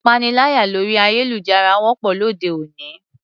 Ìpaniláyà lórí ayélujára wọ́pọ̀ lóde òní.